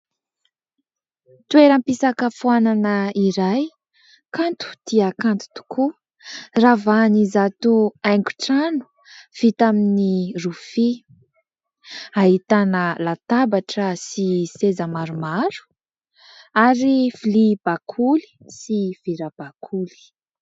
Toeram-pisakafoanana iray : kanto dia kanto tokoa, ravahan'izato haingon-trano vita amin'ny rofia, ahitana latabatra sy seza maromaro ary vilia bakoly sy vera bakoly.